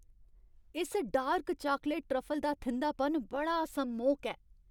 इस dark chocolate truffle दा थिंधापन बड़ा सम्मोहक ऐ।